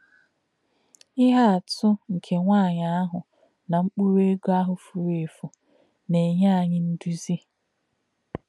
Íhè̄ àtụ̀ nké̄ nwá̄nyí̄ àhū̄ nā̄ mkpụ̀rụ́ ègò̄ àhū̄ fūrù̄ èfù̄ nā̄-ènyè̄ ànyí̄ ndụ̀zí̄.